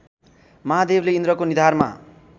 महादेवले इन्द्रको निधारमा